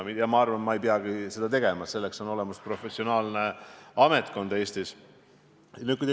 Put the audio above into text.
Ja ma arvan, et ma ei peagi seda tegema, selleks on Eestis olemas professionaalne ametkond.